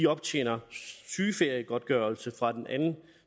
optjener sygeferiegodtgørelse fra den anden